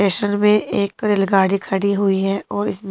station में एक रेलगाड़ी खड़ी हुई है और इसम--